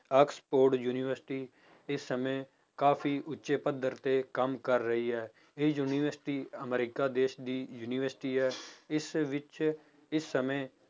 Oxford university ਇਸ ਸਮੇਂ ਕਾਫ਼ੀ ਉੱਚੇ ਪੱਧਰ ਤੇ ਕੰਮ ਕਰ ਰਹੀ ਹੈ, ਇਹ university ਅਮਰੀਕਾ ਦੇਸ ਦੀ ਯੂਨੀਵਰਸਟੀ ਹੈ, ਇਸ ਵਿੱਚ ਇਸ ਸਮੇਂ